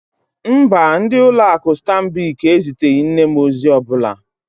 Mba, ndị ụlọ akụ Stanbic eziteghị nne m ozi ọ bụla.